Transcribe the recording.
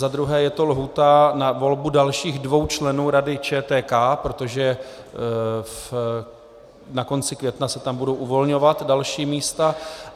Za druhé je to lhůta na volbu dalších dvou členů Rady ČTK, protože ke konci května se tam budou uvolňovat další místa.